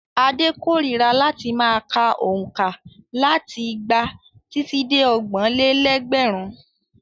Ade kórira láti ma ka òǹkà láti igba títí dé ọgbọ̀n-lé-lẹ́gbẹ̀rún?